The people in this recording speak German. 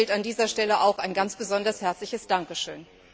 Ihnen gilt an dieser Stelle auch ein ganz besonders herzliches Dankeschön.